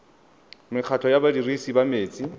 mekgatlho ya badirisi ba metsi